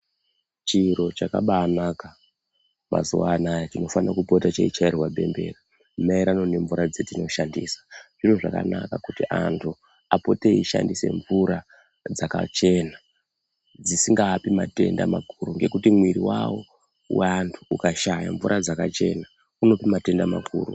Chiro chakabaanaka mazuwa anaya chinofane kupota cheichairwe bembera maerano nemvura dzatinoshandisa zviro zvakanaka kuti antu apote eishandise mvura dzakachena dzisingaapi matenda makuru ngekuti miri wawo waantu ukashaye mvura dzakachena unope matenda makuru.